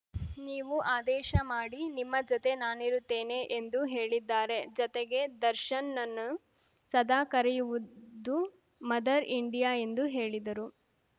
ನೀವು ಆದೇಶ ಮಾಡಿ ನಿಮ್ಮ ಜೊತೆ ನಾನಿರುತ್ತೇನೆ ಎಂದು ಹೇಳಿದ್ದಾರೆ ಜತೆಗೆ ದರ್ಶನ್ ನನ್ನನ್ನು ಸದಾ ಕರೆಯುವುದು ಮದರ್ ಇಂಡಿಯಾ ಎಂದು ಹೇಳಿದರು